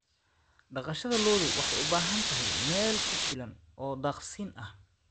Dhaqashada lo'du waxay u baahan tahay meel ku filan oo daaqsinta ah.